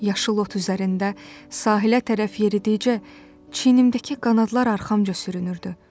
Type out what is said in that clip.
Yaşıl ot üzərində sahilə tərəf yeridikcə çiyinimdəki qanadlar arxamca sürünürdü.